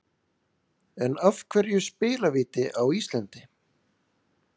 En af hverju spilavíti á Íslandi?